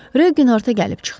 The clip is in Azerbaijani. Rögin artıq gəlib çıxdı.